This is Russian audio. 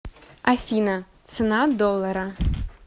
афина цена доллара